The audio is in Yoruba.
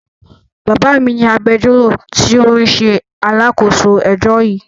Bàbá mi ni agbẹjọ́rò tí ó ń ṣe alákòóso ẹjọ́ yìí.